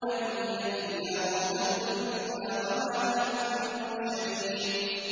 إِنْ هِيَ إِلَّا مَوْتَتُنَا الْأُولَىٰ وَمَا نَحْنُ بِمُنشَرِينَ